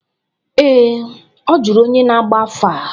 Ee, ọ jụrụ onye na-agba afa.